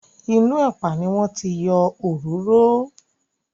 Inú ẹ̀pà ni wọ́n ti yọ òróró.